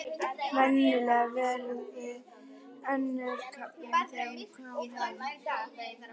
Venjulega verið önnum kafin þegar hún kom heim.